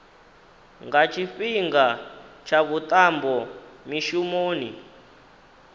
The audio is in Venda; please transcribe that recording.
nga tshifhinga tsha vhuṱambo mishumoni